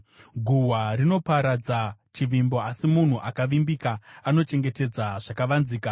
Guhwa rinoparadza chivimbo, asi munhu akavimbika anochengetedza zvakavanzika.